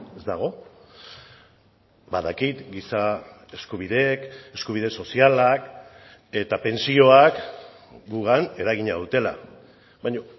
ez dago badakit giza eskubideek eskubide sozialak eta pentsioak gugan eragina dutela baina